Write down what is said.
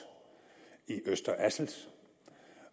i øster assels